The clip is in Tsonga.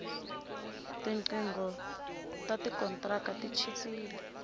tinqingho ta kontraka ti chipile